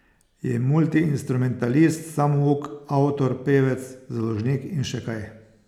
Je multiinstrumentalist samouk, avtor, pevec, založnik in še kaj.